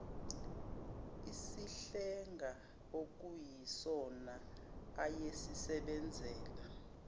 isihlenga okuyisona ayesisebenzisa